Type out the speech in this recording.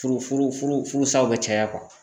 Furu furu furusaw bɛ caya